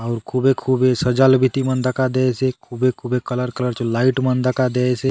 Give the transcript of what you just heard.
और खुबे - खुबे सजालो बीती मन दखा देयसे खुबे - खुबे कलर कलर चो लाईट मन दखा देयसे।